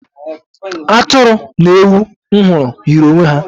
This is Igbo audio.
Atụrụ na ewu ahụ m hụrụ yiri onwe ha.